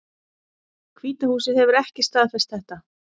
Hvíta húsið hefur ekki staðfest þetta